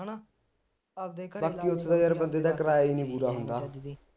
ਬਾਕੀ ਉਸਦੇ ਯਾਰ ਬੰਦਾ ਕਿਰਾਇਆ ਈ ਨੀ ਪੂਰਾ ਹੁੰਦਾ